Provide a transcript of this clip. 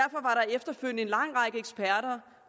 efterfølgende en lang række eksperter